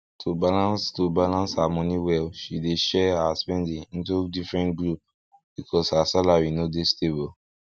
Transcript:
to balance to balance her money well she dey share her spending into different group because her salary no dey stable